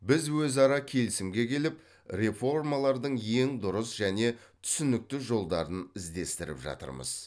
біз өзара келісімге келіп реформалардың ең дұрыс және түсінікті жолдарын іздестіріп жатырмыз